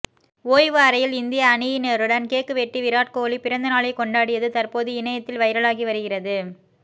ஓய்வு அறையில் இந்திய அணியினருடன் கேக் வெட்டி விராட் கோலி பிறந்தநாளை கொண்டாடியது தற்போது இணையத்தில் வைரலாகி வருகிறது